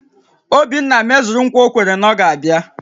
Obinna mezuru ńkwà o kwere na ọ ga-abịa